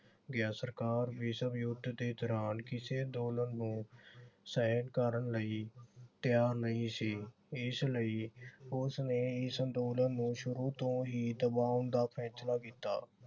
ਗਿਆ। ਸਰਕਾਰ ਵਿਸ਼ਵ ਯੁੱਧ ਦੇ ਦੌਰਾਨ ਕਿਸੇ ਅੰਦੋਲਨ ਨੂੰ ਸਹਿਣ ਕਰਨ ਲਈ ਤਿਆਰ ਨਹੀਂ ਸੀ । ਇਸ ਲਈ ਉਸਨੇ ਇਸ ਅੰਦੋਲਨ ਨੂੰ ਸ਼ੁਰੂ ਤੋਂ ਹੀ ਦਬਾਉਣ ਦਾ ਫੈਸਲਾ ਕੀਤਾ।